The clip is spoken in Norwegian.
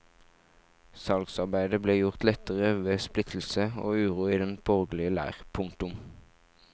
Salgsarbeidet ble gjort lettere ved splittelse og uro i den borgerlige leir. punktum